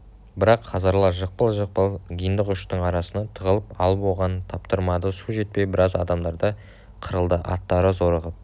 бірақ хазарлар жықпыл-жықпыл гиндықұштың арасына тығылып алып оған таптырмады су жетпей біраз адамдары қырылды аттары зорығып